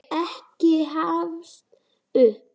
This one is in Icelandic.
Ekki gefast upp!